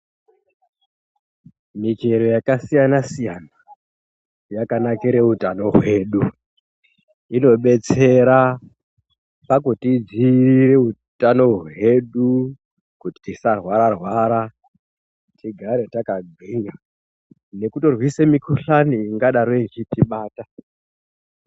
Michero yakasiyana-siyana, yakanakire utano hwedu. Inobetsera pakutidziirire utano hwedu, kuti tisahwarwara, tigare takagwinya ,nekutorwise mikhuhlani ingadaro ichitibata.